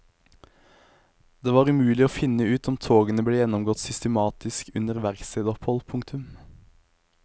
Det var umulig å finne ut om togene ble gjennomgått systematisk under verkstedopphold. punktum